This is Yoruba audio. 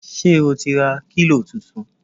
Ṣé o ti ra kílò tuntun!